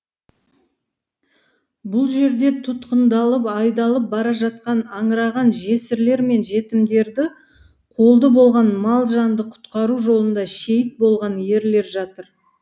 бұл жерде тұтқындалып айдалып бара жатқан аңыраған жесірлер мен жетімдерді қолды болған мал жанды құтқару жолында шейіт болған ерлер жатыр